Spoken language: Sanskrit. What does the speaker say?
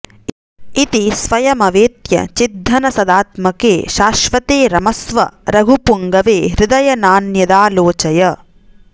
इति स्वयमवेत्य चिद्घनसदात्भके शाश्वते रमस्व रघुपुङ्गवे हृदय नान्यदालोचय